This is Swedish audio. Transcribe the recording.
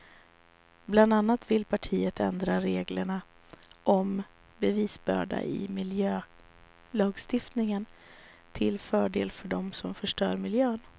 Bland annat vill partiet ändra reglerna om bevisbörda i miljölagstiftningen till fördel för dem som förstör miljön.